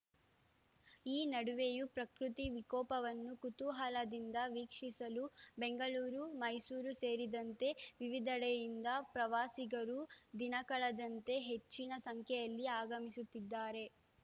ಈ ನಡುವೆಯೂ ಪ್ರಕೃತಿ ವಿಕೋಪವನ್ನು ಕುತೂಹಲದಿಂದ ವೀಕ್ಷಿಸಲು ಬೆಂಗಳೂರು ಮೈಸೂರು ಸೇರಿದಂತೆ ವಿವಿಧೆಡೆಯಿಂದ ಪ್ರವಾಸಿಗರು ದಿನಕಳೆದಂತೆ ಹೆಚ್ಚಿನ ಸಂಖ್ಯೆಯಲ್ಲಿ ಆಗಮಿಸುತ್ತಿದ್ದಾರೆ